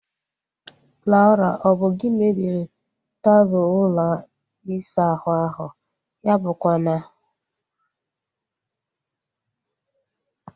Laura! Ọ bụ gị mebiri taapụ ụlọ isa ahụ ahu? Ya abụkwa na